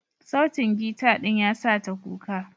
Sautin gita ɗin yasa ta kuka.